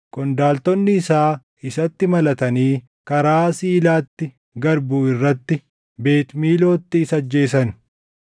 Qondaaltonni isaa isatti malatanii karaa Siilaatti gad buʼu irratti Beet Miilootti isa ajjeesan.